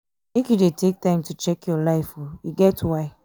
make you dey take time to check your life o e get why.